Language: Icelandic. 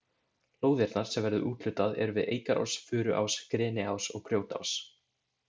Lóðirnar sem verður úthlutað eru við Eikarás, Furuás, Greniás og Grjótás.